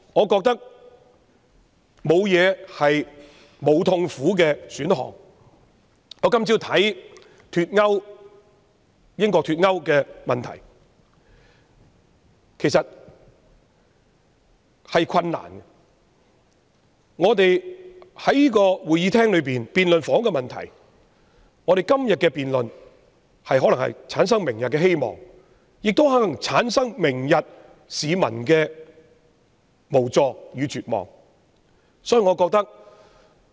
今天早上我看到英國脫歐的問題，其實亦有困難，而我們在議事廳內辯論房屋問題，今天的辯論可能會產生明天的希望，亦可能會產生市民明天的無助與絕望。